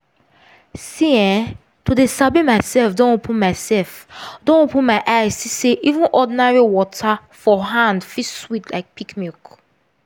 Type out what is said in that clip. see eh to dey sabi myself don open myself don open my eye see say even ordinary water for hand fit sweet like peak milk